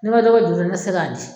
N'i b'a dɔ bɔ juru ne tɛ se ka di